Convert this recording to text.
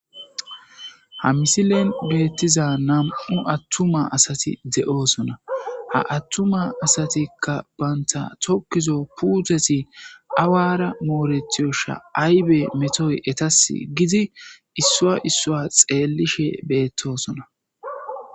Ha misilen betiza nam'u atuma asati de'osona ha atuma asatika banta tokizo putezi awara moretidesha aybe etasi gidi issuwa issuwa xelishe betosona